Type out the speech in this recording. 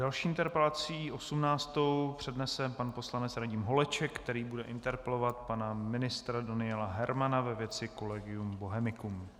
Další interpelaci, osmnáctou, přednese pan poslanec Radim Holeček, který bude interpelovat pana ministra Daniela Hermana ve věci Collegium Bohemicum.